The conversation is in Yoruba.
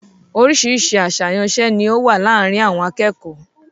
Oríṣiríṣi àsàyàn iṣẹ́ ni ó wà láàárín àwọn akẹ́kọ̀ọ́.